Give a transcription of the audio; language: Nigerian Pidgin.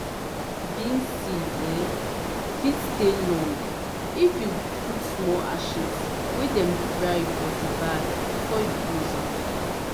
beans seed um fit stay long if you put small ashes wey dem dry for di bag before you close am.